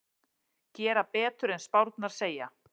Gera betur en spárnar segja